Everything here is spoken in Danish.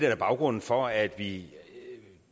er baggrunden for at vi